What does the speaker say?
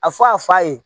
A fɔ a fa ye